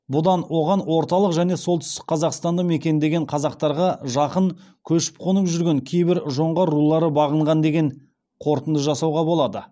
бұдан оған орталық және солтүстік қазақстанды мекендеген қазақтарға жақын көшіп қонып жүрген кейбір жоңғар рулары бағынған деген қорытынды жасауға болады